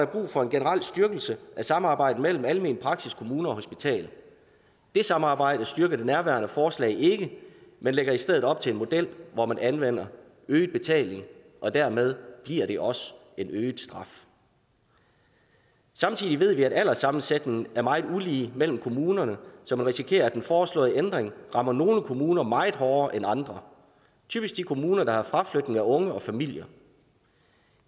brug for en generel styrkelse af samarbejdet mellem almen praksis kommune og hospital det samarbejde styrker det nærværende forslag ikke men lægger i stedet op til en model hvor man anvender øget betaling og dermed giver det også en øget straf samtidig ved vi at alderssammensætningen er meget ulige mellem kommunerne så man risikerer at den foreslåede ændring rammer nogle kommuner meget hårdere end andre typisk de kommuner der har fraflytning af unge og familier